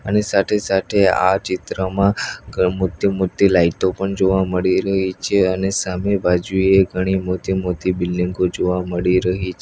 અને સાઠે-સાઠે આ ચિત્રમાં મોતી-મોતી લાઇતો પણ જોવા મળી રહી છે અને સામે બાજુએ ઘણી મોતી-મોતી બિલ્ડીંગો જોવા મળી રહી છ --